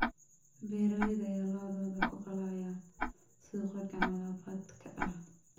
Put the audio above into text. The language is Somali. Beeralayda ayaa lo�dooda ku qalaya suuqa gacan labaadka ah.